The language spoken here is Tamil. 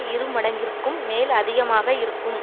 இருமடங்கிற்கும் மேல் அதிகமா இருக்கும்